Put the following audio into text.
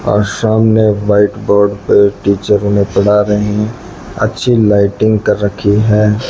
आ सामने white board पर teacher उन्हे पढ़ा रहे अच्छी लाइटिंग कर रखी है।